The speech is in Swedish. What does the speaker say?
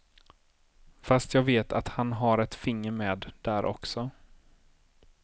Fast jag vet att han har ett finger med där också.